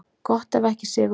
Gott ef ekki sigurmarkið.